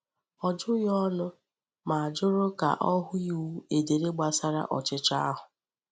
Ọ jụghị ọnụ, ma jụrụ ka o hụ iwu edere gbasara ọchịchọ ahụ.